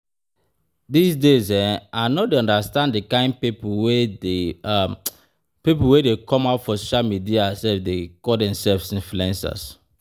Dis days I no dey understand the kyn people wey dey people wey dey come out for social media dey call themselves influencers